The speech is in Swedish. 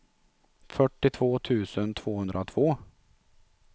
fyrtiotvå tusen tvåhundratvå